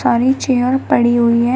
सारी चेयर पड़ी हुई है।